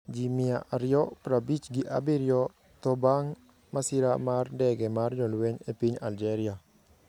Ji mia aryo prabich gi abiryo tho bang ' masira mar ndege mar jolweny e piny Algeria